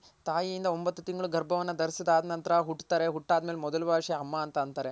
ತಾಯಿಯಿಂದ ಒಂಬತ್ ತಿಂಗಳ್ ಗರ್ಭವನ್ ದರಿಸಿಸ್ದ್ ಆದ್ ನಂತರ ಹುಟ್ತಾರೆ ಹುಟ್ ಆದ ಮೇಲೆ ಮೊದಲ್ ಭಾಷೆ ಅಮ್ಮ ಅಂತ ಅಂತಾರೆ